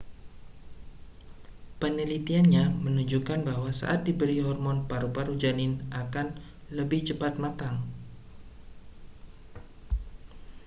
penelitiannya menunjukkan bahwa saat diberikan hormon paru-paru janin akan lebih cepat matang